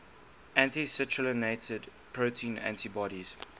anti citrullinated protein antibodies